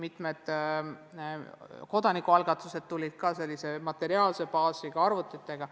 Mitme kodanikualgatuse raames tuldi välja sellise materiaalse baasiga, arvutitega.